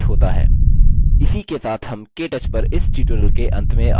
इसी के साथ हम केटच पर इस tutorial के अंत में आ चुके हैं